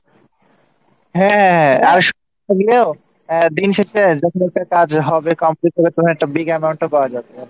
হ্যাঁ আর সব মিলিয়েও দিন শেষে যখন ওইটার কাজ হবে Complete হবে তখন একটা Big amount পাওয়া যাবে আর কী